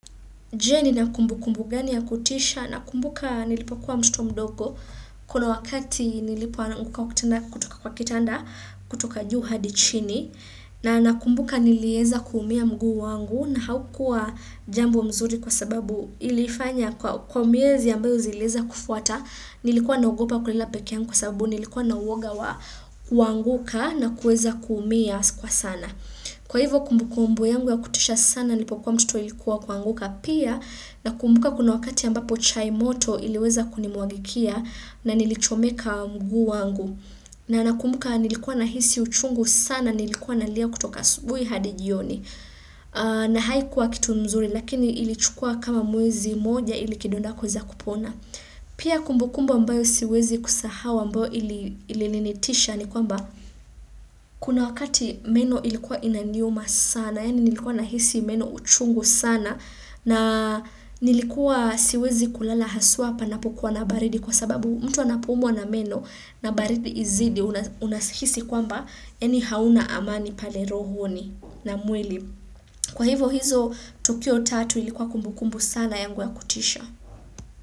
Je nina kumbukumbu gani ya kutisha nakumbuka nilipokuwa mtoto mdogo kuna wakati nilipo ananguka wakitina kutoka kwa kitanda kutoka juu hadi chini na nakumbuka nilieza kuumia mgu wangu na haukua jambo mzuri kwa sababu ilifanya kwa miezi ambayo zilieza kufuata nilikuwa naogopa kulala pekee yangu kwa sababu nilikuwa na uwoga wa kuanguka na kueza kuumia kwa sana. Kwa hivyo kumbu kumbu yangu ya kutisha sana nilipo kwa mtoto ilikuwa kuanguka pia nakumbuka kuna wakati ambapo chai moto iliweza kunimwagikia na nilichomeka mguu wangu na nakumbuka nilikuwa nahisi uchungu sana nilikuwa nalia kutoka asubuhi hadi jioni na haikuwa kitu mzuri lakini ilichukua kama mwezi moja ili kidonda kuweza kupona. Pia kumbukumbu ambayo siwezi kusahau ambayo ili ilinitisha ni kwamba kuna wakati meno ilikuwa inaniuma sana yaani nilikuwa nahisi meno uchungu sana na nilikuwa siwezi kulala haswa panapokuwa na baridi kwa sababu mtu anapoumwa na meno na baridi izidi unahisi kwamba yaani hauna amani pale rohoni na mwili. Kwa hivo hizo tukio tatu ilikuwa kumbukumbu sana yangu ya kutisha.